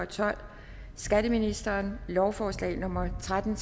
tolv skatteministeren lovforslag nummer l tretten